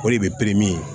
O de bɛ